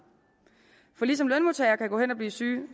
for ligesom lønmodtagere kan gå hen og blive syge